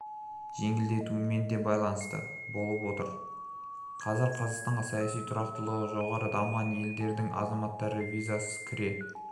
жеңілдетілуімен де байланысты болып отыр қазір қазақстанға саяси тұрақтылығы жоғары дамыған елдің азаматтары визасыз кіре